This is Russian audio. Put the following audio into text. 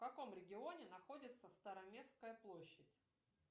в каком регионе находится староместская площадь